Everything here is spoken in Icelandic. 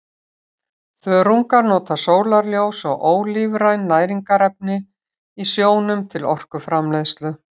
Þörungar nota sólarljós og ólífræn næringarefni í sjónum til orkuframleiðslu.